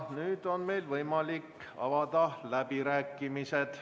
Nüüd on meil võimalik avada läbirääkimised.